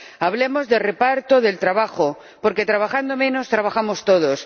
Hablemos de reparto del trabajo, porque trabajando menos trabajamos todos.